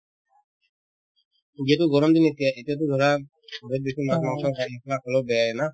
যিহেতু গৰমদিন এতিয়া এতিয়াতো ধৰা বহুত বেছি মাছ-মাংস নিচিনা হলেও বেয়ায়ে না